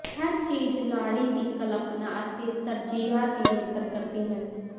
ਹਰ ਚੀਜ਼ ਲਾੜੀ ਦੀ ਕਲਪਨਾ ਅਤੇ ਤਰਜੀਹਾਂ ਤੇ ਨਿਰਭਰ ਕਰਦੀ ਹੈ